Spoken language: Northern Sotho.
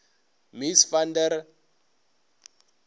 mies van der